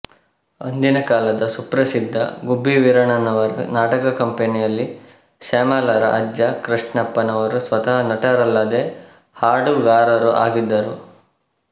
ಅಂದಿನ ಕಾಲದ ಸುಪ್ರಸಿದ್ಧ ಗುಬ್ಬಿವೀರಣ್ಣನವರ ನಾಟಕಕಂಪೆನಿಯಲ್ಲಿ ಶ್ಯಾಮಲಾರ ಅಜ್ಜ ಕೃಷ್ಣಪ್ಪ ನವರು ಸ್ವತಃ ನಟರಲ್ಲದೆ ಹಾಡುಗಾರರೂ ಆಗಿದ್ದರು